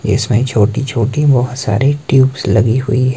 इसमें छोटी छोटी बहुत सारी ट्यूब्स लगी हुई है।